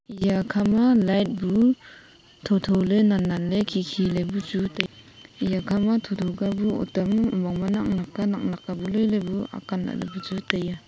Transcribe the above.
eya kha ma light bu thotholey nannanley khikhiley bu chu tai eya kha ma thotho kebu otam omong ma naknak ka naknak ka bu loiley bu akan lahley chu taiya.